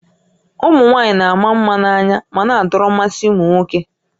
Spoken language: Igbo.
Ụmụ nwaanyị na-ama mma na-anya ma na-adọrọ mmasị ụmụ nwoke